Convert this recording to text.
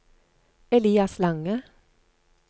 Elias Lange